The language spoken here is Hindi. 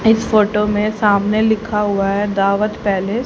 इस फोटो में सामने लिखा हुआ है दावत पैलेस --